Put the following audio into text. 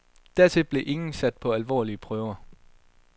Dertil blev ingen sat på alvorlige prøver.